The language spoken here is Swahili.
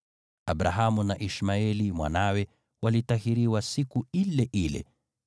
Abrahamu na Ishmaeli mwanawe walitahiriwa siku ile ile,